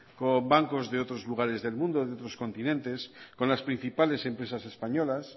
con bancos de otros lugares del mundo de otros continentes con las principales empresas españolas